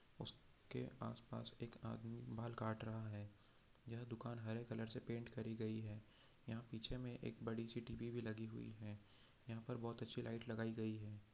उसके आस पास एक आदमी बाल काट रहा है यह दुकान हरे रंग से पेंट करी हुई है यहाँ पीछे में बड़ी सी टी_वी भी लगी हुई है यहाँ पर बहुत अच्छी लाइट लगाई गई हैं।